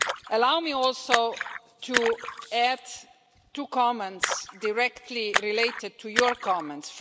Allow me also to add two comments directly related to your comments.